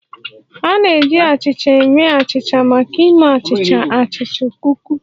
A na-eji achịcha eme achịcha maka ịme achịcha, achịcha, kuki